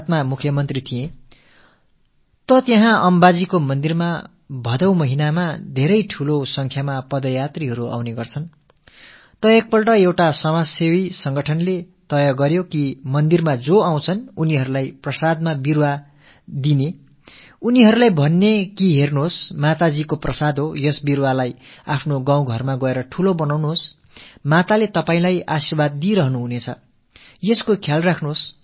நான் குஜராத்தின் முதல்வராக இருந்த காலகட்டத்தில் பாத்ர மாதத்தின் போது அங்கே இருக்கும் அம்பா தேவி கோயிலில் மிகப் பெரிய அளவில் பாதயாத்திரிகள் வருவதைப் பார்த்திருக்கிறேன் ஒரு முறை ஒரு சமூக சேவை அமைப்பு கோயிலுக்கு வழிபட வருபவர்களுக்கு பிரசாதமாக ஒரு மரக்கன்றை அளித்து இதைக் கொண்டு சென்று உங்கள் கிராமத்தில் நட்டு வளர்த்தால் தாய் அம்பா உங்களுக்கு தன் ஆசிகளை தொடர்ந்து அளித்து வருவாள் என்று தெரிவித்தது